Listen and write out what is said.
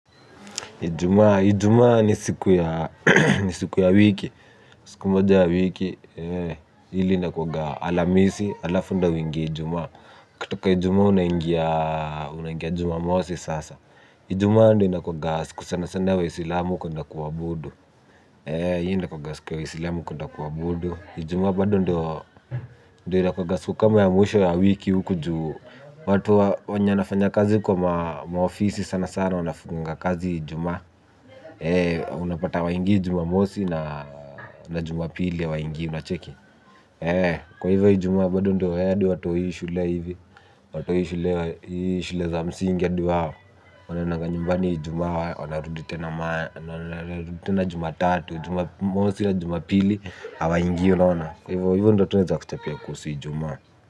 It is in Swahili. Ijumaa ni siku ya wiki siku moja ya wiki ile inakuanga alamisi alafu ndio uingie ijumaa katika ijumaa unaingia jumamosi sasa. Ijuma ndio inakuanga siku sana sana ta waislamu kuenda kuabudu inakuanga siku ya waislamu kuenda kuabudu ijumaa bado ndio inakuanga siku kama ya mwisho yiki juwatu wenye wanafanya kazi kwenye maofisi wanafanya kazi ijumaa nafanya kazi kwa maofisi sana sana wanafunganga kazi juma. Unapata hawaingii jumamosi na juma pili hawaingii unacheki kwahivo ijumaa bado ndio hadi watoi shule hivi watoi shule za msingi adi huwa wanaendanga nyumbani ijuma wanarudi tena juma tatu juma mosi ya juma pili ya hawaingi unaona kwa hivyo ndo tu naeza kuchapia kuhusu ijumaa.